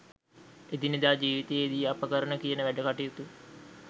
එදිනෙදා ජීවිතයේදී අප කරන කියන වැඩකටයුතු